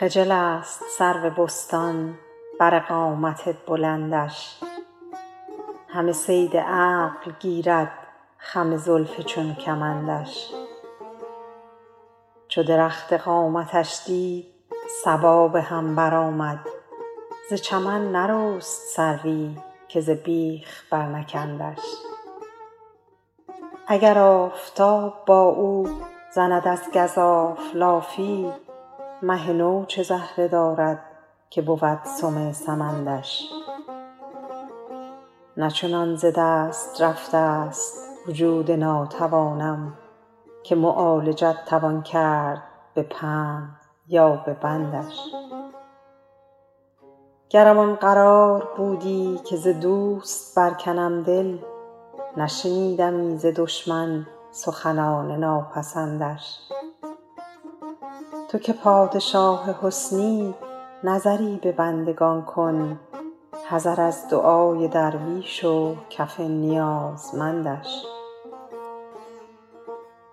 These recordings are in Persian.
خجل است سرو بستان بر قامت بلندش همه صید عقل گیرد خم زلف چون کمندش چو درخت قامتش دید صبا به هم برآمد ز چمن نرست سروی که ز بیخ برنکندش اگر آفتاب با او زند از گزاف لافی مه نو چه زهره دارد که بود سم سمندش نه چنان ز دست رفته ست وجود ناتوانم که معالجت توان کرد به پند یا به بندش گرم آن قرار بودی که ز دوست برکنم دل نشنیدمی ز دشمن سخنان ناپسندش تو که پادشاه حسنی نظری به بندگان کن حذر از دعای درویش و کف نیازمندش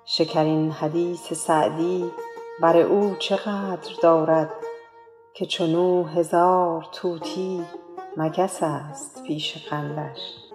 شکرین حدیث سعدی بر او چه قدر دارد که چون او هزار طوطی مگس است پیش قندش